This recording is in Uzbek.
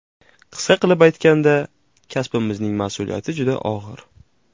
Qisqa qilib aytganda, kasbimizning mas’uliyati juda og‘ir.